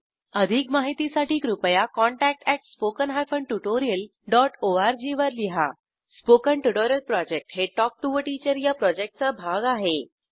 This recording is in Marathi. अधिक माहितीसाठी कृपया contact at spoken hyphen tutorial dot ORG वर लिहा स्पोकन ट्युटोरियल प्रॉजेक्ट हे टॉक टू टीचर या प्रॉजेक्टचा भाग आहे